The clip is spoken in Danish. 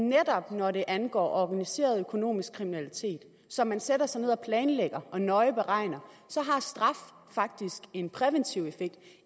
netop når det angår organiseret økonomisk kriminalitet som man sætter sig ned og planlægger og nøje beregner så har straf faktisk en præventiv effekt